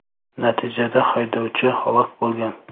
Natijada haydovchi halok bo‘lgan.